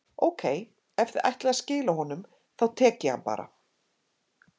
Ókei, ef þið ætlið að skila honum, þá tek ég hann bara.